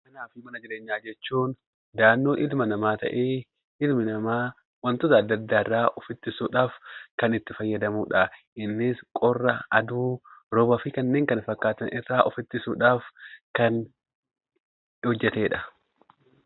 Manaa fi mana jireenyaa jechuun ilmi namaa wantoota adda addaarraa of ittisuudhaaf kan itti fayyadamudha. Innis qorra , aduu , roobaa fi kanneen kana fakkaatan ofirraa ittisuudhaaf kan gargaarudha.